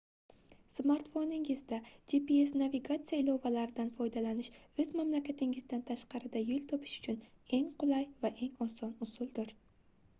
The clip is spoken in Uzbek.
smartfoningizda gps navigatsiya ilovalaridan foydalanish oʻz mamlakatingizdan tashqarida yoʻl topish uchun eng qulay va eng oson usuldir